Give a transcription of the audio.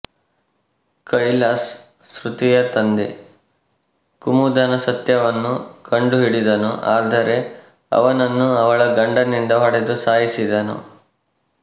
ಕೈಲಾಶ್ ಶ್ರುತಿಯ ತಂದೆ ಕುಮುದನ ಸತ್ಯವನ್ನು ಕಂಡುಹಿಡಿದನು ಆದರೆ ಅವನನ್ನು ಅವಳ ಗಂಡನಿಂದ ಹೊಡೆದು ಸಾಯಿಸಿದನು